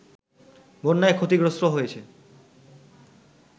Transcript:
বন্যায় ক্ষতিগ্রস্ত হয়েছে